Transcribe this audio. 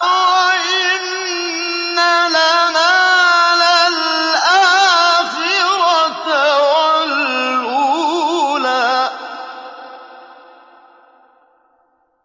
وَإِنَّ لَنَا لَلْآخِرَةَ وَالْأُولَىٰ